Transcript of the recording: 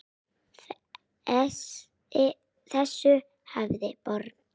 Þessu hafnaði borgin.